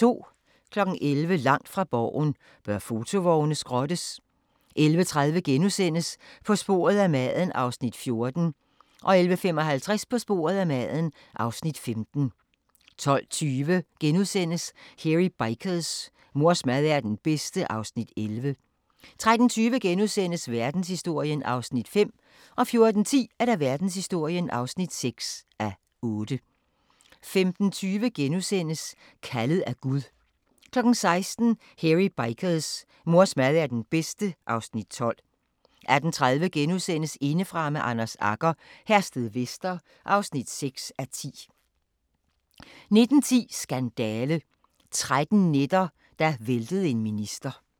11:00: Langt fra Borgen: Bør fotovogne skrottes? 11:30: På sporet af maden (Afs. 14)* 11:55: På sporet af maden (Afs. 15) 12:20: Hairy Bikers: Mors mad er den bedste (Afs. 11)* 13:20: Verdenshistorien (5:8)* 14:10: Verdenshistorien (6:8) 15:20: Kaldet af Gud * 16:00: Hairy Bikers: Mors mad er den bedste (Afs. 12) 18:30: Indefra med Anders Agger - Herstedvester (6:10)* 19:10: Skandale – 13 nætter, der væltede en minister